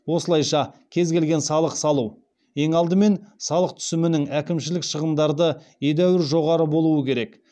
осылайша кез келген салық салу ең алдымен салық түсімінің әкімшілік шығындарды едәуір жоғары болуы керек